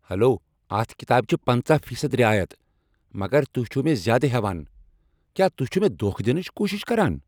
Hello! اتھ کتابہ چھ پنٛژاہ فیصد رعایت مگر تہۍ چھو مےٚ زیادٕ ہیوان۔ کیا تہۍ چھو مےٚ دھوکہ دنٕچ کوٗشش کران؟